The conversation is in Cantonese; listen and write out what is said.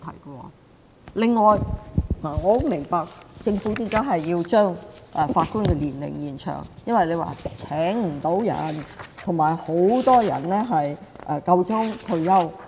我十分明白政府為何要將法官的退休年齡延長，因為請不到人，而且很多人快要退休。